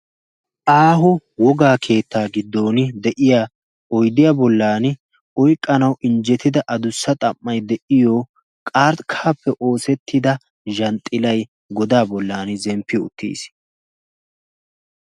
Aaho wogakeettaa giddon de'iyaa oyddiyaa boollan oyqqanawu injjettida adussa xam'ay de'iyoo qarkkaappe oosetidda zhanxxillay godaa bollaan zemppi uttiis.